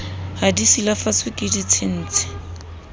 ha di silafatswe ke ditshintshi